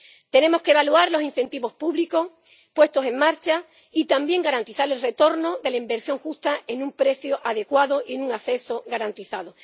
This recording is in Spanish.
Tenemos que evaluar los incentivos públicos puestos en marcha y también garantizar el retorno de la inversión justa con un precio adecuado y un acceso garantizado.